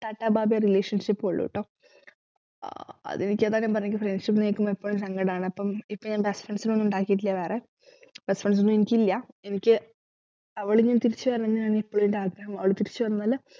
tata bye bye relationship ഓ ഉള്ളൂട്ടോ ആഹ് അതുമിക്ക friends ഉം ഇപ്പോഴും സങ്കടാണ് അപ്പം ഇപ്പോഴെന്താ friends നെ ഒന്നും ഉണ്ടാക്കീട്ടില്ല വേറെ best friends ഒന്നും എനിക്കില്ല എനിക്ക് അവളിനി തിരിച്ചുവരണംന്നാണ് ഇപ്പോളും എന്റെ ആഗ്രഹം അവള് വലുതിരിച്ചുവന്നാല്